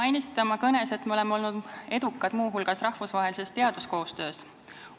Te mainisite oma kõnes, et me oleme olnud edukad ka rahvusvahelises teaduskoostöös.